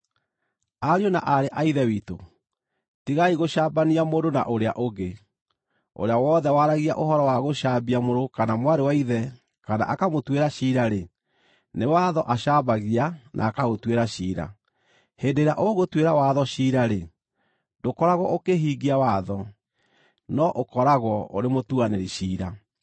Ariũ na aarĩ a Ithe witũ, tigai gũcambania mũndũ na ũrĩa ũngĩ. Ũrĩa wothe waragia ũhoro wa gũcambia mũrũ kana mwarĩ wa ithe kana akamũtuĩra ciira-rĩ, nĩ watho acambagia na akaũtuĩra ciira. Hĩndĩ ĩrĩa ũgũtuĩra watho ciira-rĩ, ndũkoragwo ũkĩhingia watho, no ũkoragwo ũrĩ mũtuanĩri ciira.